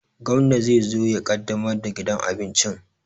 Gwamna ne zai zo ya ƙaddamar da gidan abincin